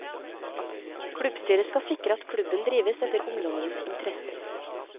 Klubbstyret skal sikre at klubben drives etter ungdommenes interesser.